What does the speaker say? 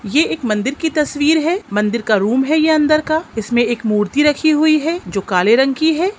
ये एक मंदिर की तस्वीर है मंदिर का रूम है ये अंदर का इसमे एक मूर्ति रखी हुई है जो काले रंग की है।